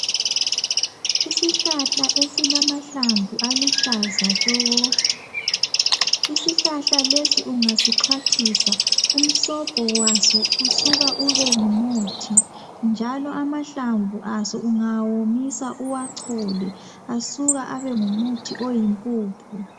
Isihlahla esilamahlamvu aluhlaza tshoko Isihlahla lesi ungasixhwathisa umsobho waso usuka ube ngumuthi njalo amahlamvu aso ungawomisa uwachole asuka abe ngumuthi oyimpuphu